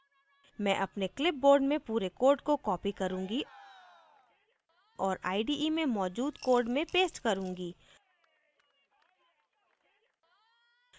मैं अपने clipboard में पूरे code को copy करुँगी और ide में मौजूद code में paste करूँगी